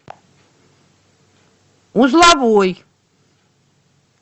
узловой